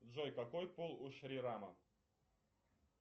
джой какой пол у шри рама